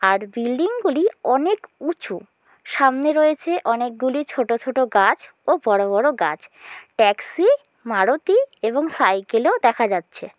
আর বিল্ডিংগুলি অনেক উঁচু সামনে রয়েছে অনেকগুলি ছোট ছোট গাছ ও বড়ো বড়ো গাছ। ট্যাক্সি মারুতি এবং সাইকেলেও দেখা যাচ্ছে।